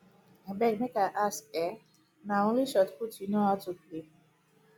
abeg make i ask eh na only shotput you know how to play